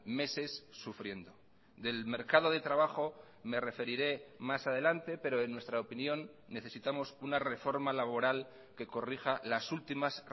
meses sufriendo del mercado de trabajo me referiré más adelante pero en nuestra opinión necesitamos una reforma laboral que corrija las últimas